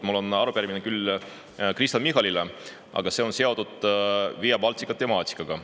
Mul on arupärimine küll Kristen Michalile, aga see on seotud Via Baltica temaatikaga.